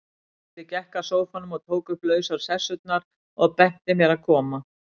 Gísli gekk að sófanum, tók upp lausar sessurnar, og benti mér að koma.